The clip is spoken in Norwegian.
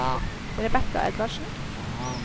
Rebekka Edvardsen